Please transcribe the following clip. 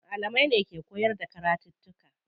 Malamai ne ke koyar da karatuttuka.